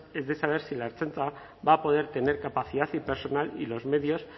es de saber si la ertzaintza va a poder tener capacidad y personal y los medios